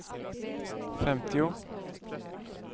femtio